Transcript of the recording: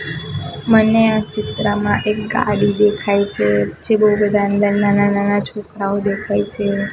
મને આ ચિત્રમાં એક ગાડી દેખાય છે પછી બોવ બધા અંદર નાના નાના છોકરાઓ દેખાય છે.